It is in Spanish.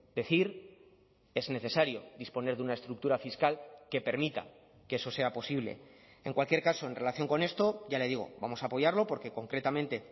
decir es necesario disponer de una estructura fiscal que permita que eso sea posible en cualquier caso en relación con esto ya le digo vamos a apoyarlo porque concretamente